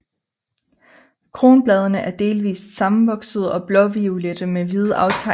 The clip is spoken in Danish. Kronbladene er delvist sammenvoksede og blåviolette med hvide aftegninger i svælget